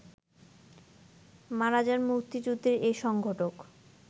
মারা যান মুক্তিযুদ্ধের এ সংগঠক